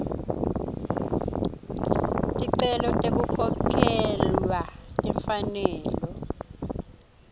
ticelo tekukhokhelwa timfanelo